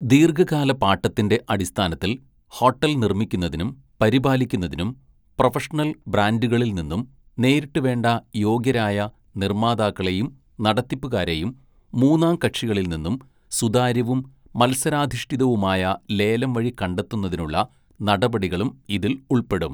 " ദീര്‍ഘകാല പാട്ടത്തിന്റെ അടിസ്ഥാനത്തില്‍ ഹോട്ടല്‍ നിര്‍മ്മിക്കുന്നതിനും പരിപാലിക്കുന്നതിനും പ്രൊഫഷണല്‍ ബ്രാന്‍ഡുകളില്‍ നിന്നും നേരിട്ട് വേണ്ട യോഗ്യരായ നിര്‍മ്മാതാക്കളെയും നടത്തിപ്പുകാരെയും മൂന്നാംകക്ഷികളില്‍ നിന്നും സുതാര്യവും മത്സരാധിഷ്ഠിതവുമായ ലേലം വഴി കണ്ടെത്തുന്നതിനുള്ള നടപടികളും ഇതില്‍ ഉള്‍പ്പെടും. "